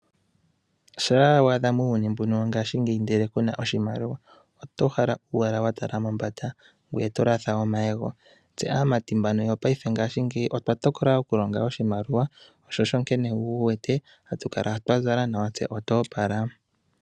Shampa wa adha muuyuni mbuka wongashingeyi, ashike ku na oshimaliwa oto uhala owala wa tala mombanda ngoye to latha omayego. Aamati yopaife oya tokola okulonga oshimaliwa, sho osho wu wete haya kala ya zala nawa yo yo opala.